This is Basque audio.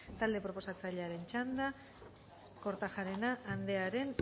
talde proposatzailearen txanda kortajarena andrearen